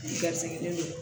Gasilen do